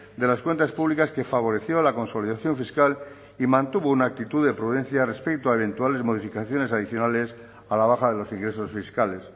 de las cuentas públicas que favoreció la consolidación fiscal y mantuvo una actitud de prudencia respecto a eventuales modificaciones adicionales a la baja de los ingresos fiscales